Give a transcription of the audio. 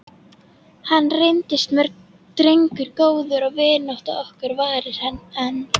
Hann reyndist mér drengur góður og vinátta okkar varir enn.